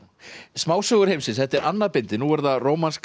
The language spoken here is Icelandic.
smásögur heimsins þetta er annað bindið nú er það rómanska